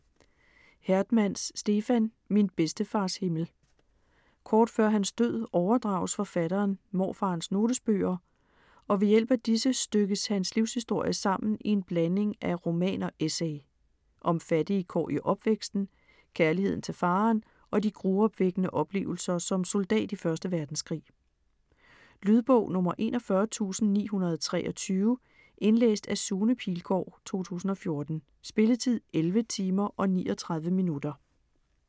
Hertmans, Stefan: Min bedstefars himmel Kort før hans død overdrages forfatteren morfarens notesbøger, og ved hjælp af disse stykkes hans livshistorie sammen i en blanding af roman og essay. Om fattige kår i opvæksten, kærligheden til faderen og de gruopvækkende oplevelser som soldat i 1. verdenskrig. Lydbog 41923 Indlæst af Sune Pilgaard, 2014. Spilletid: 11 timer, 39 minutter.